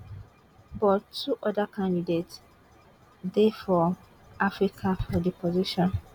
but two oda candidates dey from africa for di position